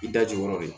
I da jukɔrɔ de